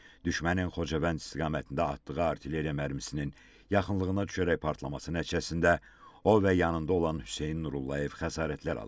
düşmənin Xocavənd istiqamətində atdığı artilleriya mərmisinin yaxınlığına düşərək partlaması nəticəsində o və yanında olan Hüseyn Nurullayev xəsarətlər alıb.